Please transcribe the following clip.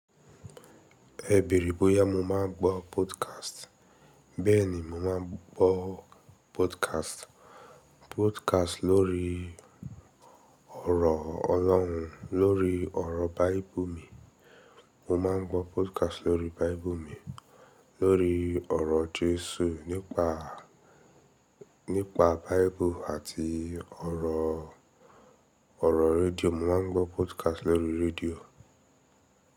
E béere bóyá mo máa ń gbọ́ podcast. Bẹ́ẹ̀ni mo máa ń gbọ́ podcast. Podcast lórí ọ̀rọ̀ Ọlọ́run, lórí ọ̀rọ̀ Baíbuù mi, mo máa ń gbọ́ podcast lórí Baíbuù mi, lórí ọ̀rọ̀ Jésù nípa, nípa Baíbuù àti ọ̀rọ̀, ọ̀rọ̀ rédíò mo máa ń gbọ́ podcast lórí rédíò.